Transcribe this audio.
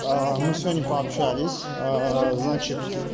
мы сегодня пообщались значит